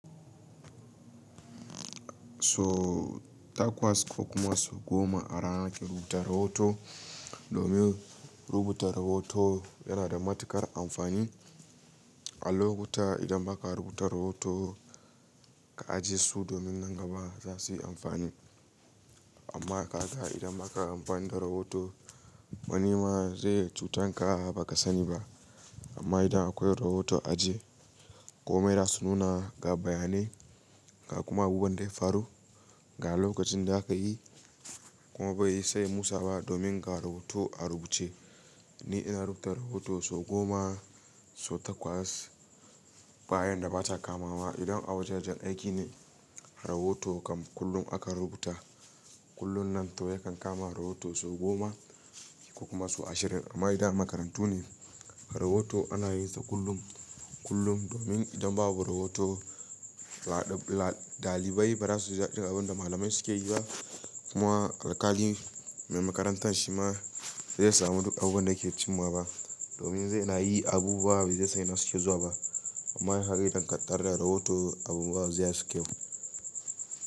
So takwas ko kuma su goma a rana ki rubuta rahoto domin rubuta rahoto yana da matuƙar amfani. A lokuta idan ba ka rubuta rahoto ka ajiye su domin nan gaba za su yi amfani. Amma ka ga idan ba ka amfani da rahoto wani ma zai cutanka ba ka sani ba. Amma idan akwai rahoto a aji komai da su nuna ga bayanai, ga kuma abubuwan da faru ga lokacin da aka yi kuma bai yi sai musa ba domin ga rahoto a rubuce. Ni ina rubuta rahoto sau goma sau takwas bayan da ba ta kama wa. Idan a waja jan aiki ne rahoto kam kullum aka rubuta kullum nan toh yakan kama rahoto sau goma ko kuma sau ashirin. Amma idan makarantu ne rahoto ana yin sa kullum, kullum domin idan babu rahoto laɗ-laɗ ɗalibai ba za su ji abin da malamai suke yi ba. Kuma alƙalin mai makarantar shi ma bai samu duk abubuwan da ke cimawa ba domin zai na yi abubuwa bai zai sani suke zuwa ba. Amma kaga idan ka tara da rahoto abubuwa zai haske mu.